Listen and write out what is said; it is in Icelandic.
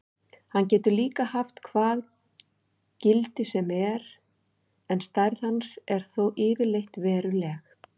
Hann getur líka haft hvað gildi sem er en stærð hans er þó yfirleitt veruleg.